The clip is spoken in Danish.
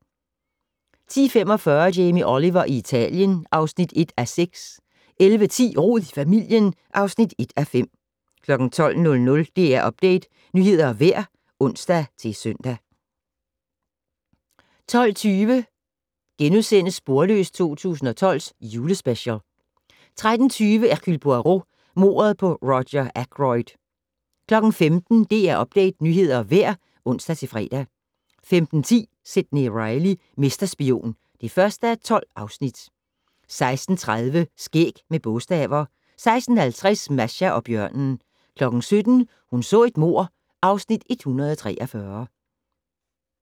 10:45: Jamie Oliver i Italien (1:6) 11:10: Rod i familien (1:5) 12:00: DR Update - nyheder og vejr (ons-søn) 12:20: Sporløs 2012 - Julespecial * 13:20: Hercule Poirot: Mordet på Roger Ackroyd 15:00: DR Update - nyheder og vejr (ons-fre) 15:10: Sidney Reilly - mesterspion (1:12) 16:30: Skæg med bogstaver 16:50: Masha og bjørnen 17:00: Hun så et mord (Afs. 143)